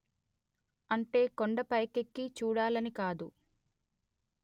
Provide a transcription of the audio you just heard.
అంటే కొండ పైకెక్కి చూడాలని కాదు